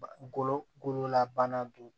Golo gololabana dun